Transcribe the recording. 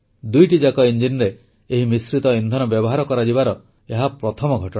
ଦୁଇଟିଯାକ ଇଞ୍ଜିନରେ ଏହି ମିଶ୍ରିତ ଇନ୍ଧନ ବ୍ୟବହାର କରାଯିବାର ଏହା ପ୍ରଥମ ଘଟଣା